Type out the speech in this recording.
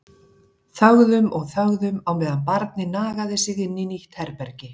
Þögðum og þögðum á meðan barnið nagaði sig inn í nýtt herbergi.